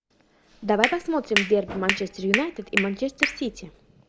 давай посмотрим дерби манчестер юнайтед и манчестер сити